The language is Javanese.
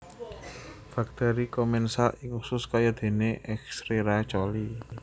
Bakteri komensal ing usus kaya dene Escherecia coli